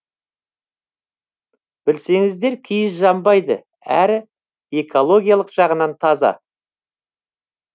білсеңіздер киіз жанбайды әрі экологиялық жағынан таза